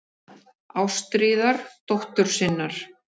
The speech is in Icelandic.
Ástríðar dóttur sinnar.